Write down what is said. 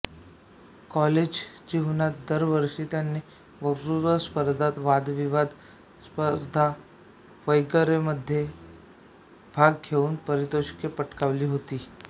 college जीवनात दरवर्षी त्यांनी वक्तृत्व स्पर्धा वादविवाद स्पर्धा वगैरेमध्ये भाग घेऊन पारितोषिके पटकावली होती